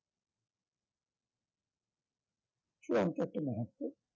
চুড়ান্ত একটা মুহূর্ত